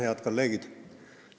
Head kolleegid!